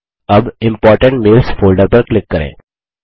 अब important mails folder पर click करें